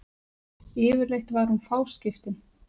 Yfirleitt var hún fáskiptin.